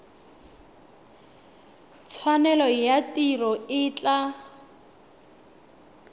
tshwanelo ya tiro e tla